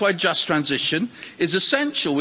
That's why Just Transition is essential.